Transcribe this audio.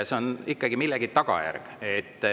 See on ikkagi millegi tagajärg.